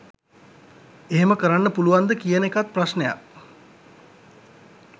එහෙම කරන්න පුලුවන්ද කියන එකත් ප්‍රශ්නයක්.